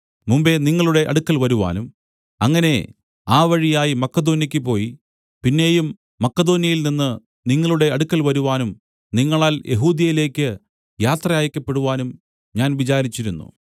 മുമ്പെ നിങ്ങളുടെ അടുക്കൽ വരുവാനും അങ്ങനെ ആ വഴിയായി മക്കെദോന്യയ്ക്കു പോയി പിന്നെയും മക്കെദോന്യയിൽനിന്ന് നിങ്ങളുടെ അടുക്കൽ വരുവാനും നിങ്ങളാൽ യെഹൂദ്യയിലേക്ക് യാത്ര അയയ്ക്കപ്പെടുവാനും ഞാൻ വിചാരിച്ചിരുന്നു